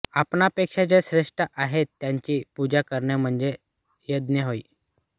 आपणा पेक्षा जे श्रेष्ठ आहेतत्यांची पूजा करणे म्हणजे यज्ञ होय